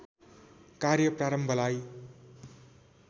कार्य प्रारम्भलाई